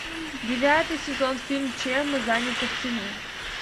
девятый сезон фильм чем мы заняты в тени